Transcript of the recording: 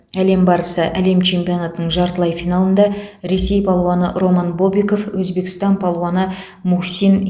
әлем барысы әлем чемпионатының жартылай финалында ресей палуаны роман бобиков өзбекстан палуаны мухсин